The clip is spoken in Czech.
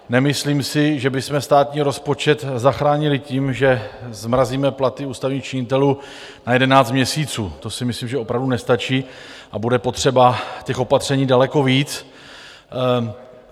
Nemyslím si, že bychom státní rozpočet zachránili tím, že zmrazíme platy ústavních činitelů na 11 měsíců, to si myslím, že opravdu nestačí a bude potřeba těch opatření daleko víc.